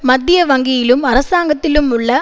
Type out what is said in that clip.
மத்தியவங்கியிலும் அரசாங்கத்திலும் உள்ள